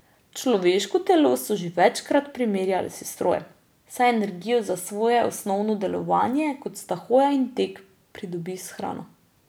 Človeško telo so že večkrat primerjali s strojem, saj energijo za svoje osnovno delovanje, kot sta hoja in tek, pridobi s hrano.